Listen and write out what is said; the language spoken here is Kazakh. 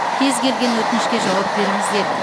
кез келген өтінішке жауап беріңіздер